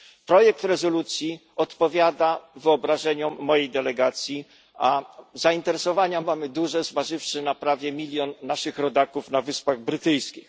Projekt rezolucji odpowiada wyobrażeniom mojej delegacji, a zainteresowania mamy duże, zważywszy na prawie milion naszych rodaków na Wyspach Brytyjskich.